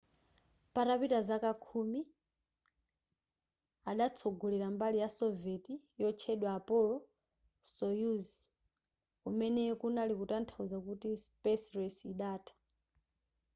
patapita zaka khumi adatsogolera mbali ya soviet yotchedwa apollo-soyuz kumene kunali kutanthauza kuti space race idatha